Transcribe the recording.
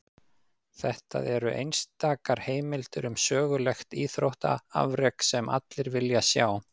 Þetta eru einstakar heimildir um sögulegt íþróttaafrek, sem allir vilja sjá.